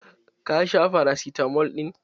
Ka sha farasitamal ɗin?